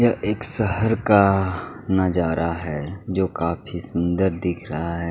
यह एक शहर का नजारा है जो काफ़ी सुंदर दिख रहा है।